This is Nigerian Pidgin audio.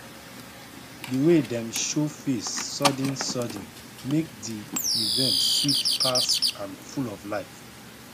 di way dem show face suddensudden make di event sweet pass and full of life